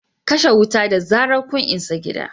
kashe wuta da zarar kun isa gidan